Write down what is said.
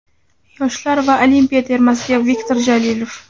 Yoshlar va Olimpiya termasiga Viktor Jalilov.